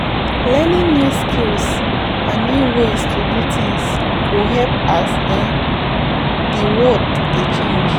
Learning new skills and new ways to do things go help as um di world dey change